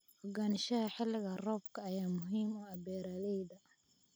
Ogaanshaha xilliga roobka ayaa muhiim u ah beeralayda.